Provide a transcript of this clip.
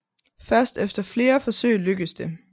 Først efter flere forsøg lykkes det